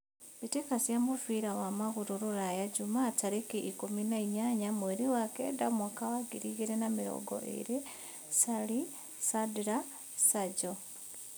Mbĩtĩka cia mũbira wa magũrũ Rũraya Jumaa tarĩkĩ ikũmi na inyanya mweri wa kenda mwaka wa ngiri igĩrĩ na mĩrongo ĩrĩ: Carĩ, Candĩra, Canjo